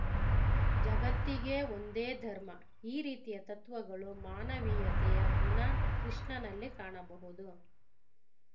ಜಗತ್ತಿಗೇ ಒಂದೇ ಧರ್ಮ ಈ ರೀತಿಯ ತತ್ವಗಳು ಮಾನವೀಯತೆಯ ಗುಣ ಕೃಷ್ಣನಲ್ಲಿ ಕಾಣಬಹುದು